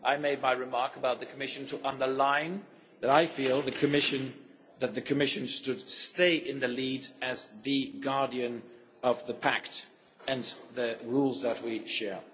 I made my remark about the Commission to underline that I feel that the Commission should stay in the lead as the guardian of the pact and the rules that we share.